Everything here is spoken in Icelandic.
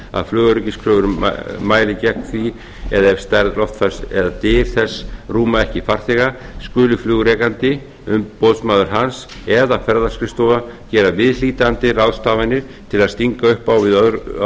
að flugöryggiskröfur mæli gegn því eða ef stærð loftfars eða dyr þess rúma ekki farþega skuli flugrekandi umboðsmaður hans eða ferðaskrifstofa gera viðhlítandi ráðstafanir til að